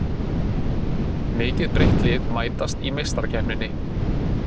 Mikið breytt lið mætast í Meistarakeppninni